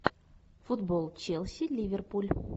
футбол челси ливерпуль